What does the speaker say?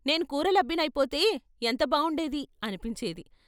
నేను కూరలబ్బినైపోతే ఎంత బావుండేది ' అనిపించేది.